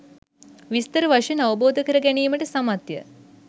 විස්තර වශයෙන් අවබෝධ කර ගැනීමට සමත්ය.